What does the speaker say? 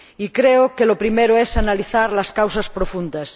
Y creo que lo primero es analizar las causas profundas.